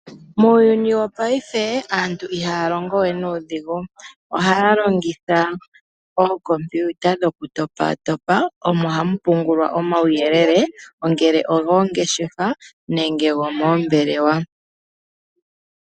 Muuyuni wopaife aantu ihaya longo we nuudhigu. Ohaya longitha ookompiuta dhoku topatopa, omo hamu pungulwa omawuyelele, ngele ogoongeshefa, nenge gomoombelewa.